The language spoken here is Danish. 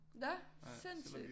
Nå sindssygt!